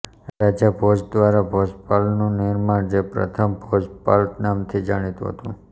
રાજા ભોજ દ્વારા ભોપાલનું નિર્માણ જે પ્રથમ ભોજપાલ નામથી જાણીતું હતું